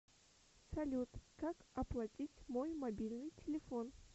салют как оплатить мой мобильный телефон